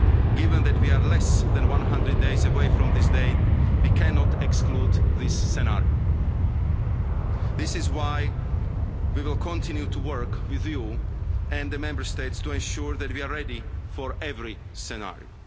territory. Given that we are less than 100 days away from this date, we cannot exclude this scenario. This is why we will continue to work with you and the Member States to ensure that we are ready for every